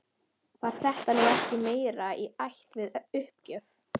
Var þetta nú ekki meira í ætt við uppgjöf?